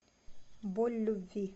боль любви